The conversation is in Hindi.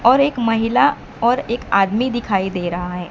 और एक महिला और एक आदमी दिखाई दे रहा है।